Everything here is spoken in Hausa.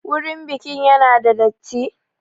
Wurin bikin ya na da datti?